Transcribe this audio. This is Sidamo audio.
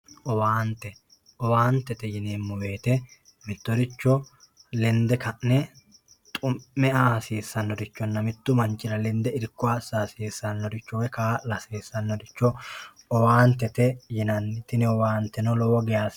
owaante owaantete yineemmowoyiite mittoricho lende ka'ne xumme aa hasiissannorichonna mittu manchira lende irko assa hasiissannoricho woy kaa'la hasiissannoricho owaantete yinanni tini owaanteno lowo geyaa hasiissano.